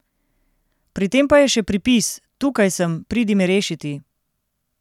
Pri tem pa je še pripis: ''Tukaj sem, pridi me rešiti''.